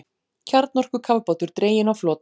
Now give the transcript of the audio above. Kjarnorkukafbátur dreginn á flot